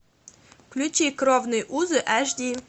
включи кровные узы аш ди